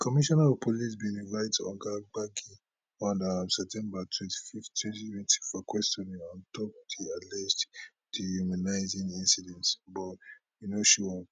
commissioner of police bin invite oga gbagi on um september twenty fifth twenty for questioning on top di alleged dehumanising incident but e no show up